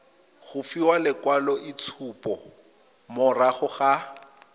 go fiwa lekwaloitshupo morago ga